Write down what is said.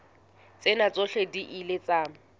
tsena tsohle di ile tsa